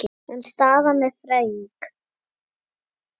En staðan er þröng.